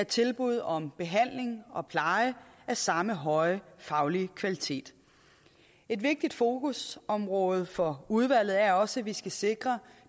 tilbud om behandling og pleje af samme høje faglige kvalitet et vigtigt fokusområde for udvalget er også at vi skal sikre